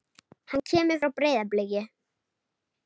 Hann kemur frá Breiðabliki.